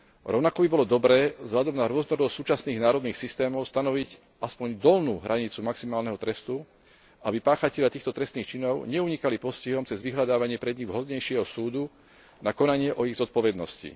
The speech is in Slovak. Rovnako by bolo dobré vzhľadom na rôznorodosť súčasných národných systémov stanoviť aspoň dolnú hranicu maximálneho trestu, aby páchatelia týchto trestných činov neunikali postihom cez vyhľadávanie pre nich vhodnejšieho súdu na konanie o ich zodpovednosti.